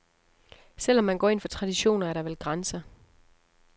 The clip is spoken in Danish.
Selv om man går ind for traditioner, er der vel grænser.